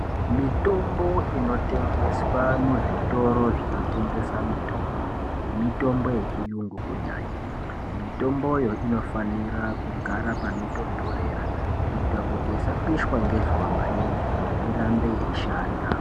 Mitombo inotengeswa muzvitoro zvinotengesa mitombo, mitombo yechiyungu kunyanya. Mitomboyo inofanira kugara panotontorera kuita kuti isapishwa ngezuwa maningi, irambe yeishanda.